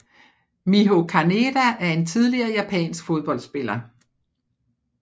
Miho Kaneda er en tidligere japansk fodboldspiller